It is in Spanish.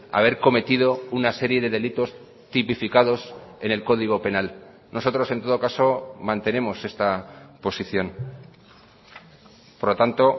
haber cometido una serie de delitos tipificados en el código penal nosotros en todo caso mantenemos esta posición por lo tanto